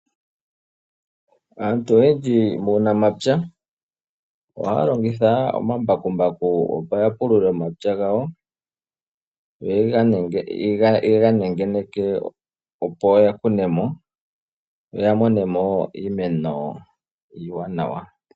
Aantu oyendji muunamapya ohaya longitha omambakumbaku opo yapulule omapya gawo yo yega nengeneke opoya kunemo yoyamonemo iimeno iiwanawa .